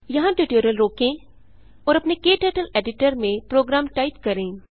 यहाँ ट्यूटोरियल रोकें और अपने क्टर्टल एडिटर में प्रोग्राम टाइप करें